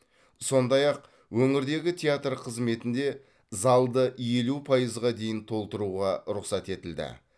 сондай ақ өңірдегі театр қызметінде залды елу пайызға дейін толтыруға рұқсат етілді